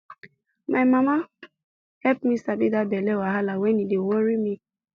my mama help me sabi that belly wahala when e dey worry me